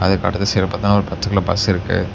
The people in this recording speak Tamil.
இந்த கடைசில பாத்த ஒரு பச்ச கலர் பஸ் இருக்கு.